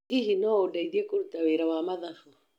Hihi no ũndeithie kũruta wĩra ma mathabũ